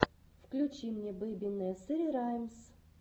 включи мне бэби несери раймс